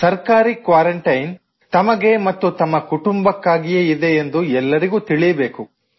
ಸರ್ಕಾರಿ ಕ್ವಾರಂಟೈನ್ ತಮಗೆ ಮತ್ತು ತಮ್ಮ ಕುಟುಂಬಕ್ಕಾಗಿಯೇ ಇದೆ ಎಂದು ಎಲ್ಲರಿಗೂ ತಿಳಿಯಬೇಕು